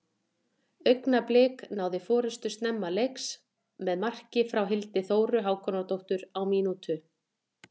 Augnablik náðu forystunni snemma leiks með marki frá Hildi Þóru Hákonardóttur á mínútu.